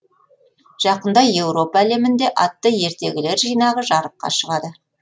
жақында еуропа әлемінде атты ертегілер жинағы жарыққа шығады